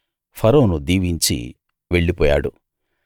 ఫరోను దీవించి వెళ్ళిపోయాడు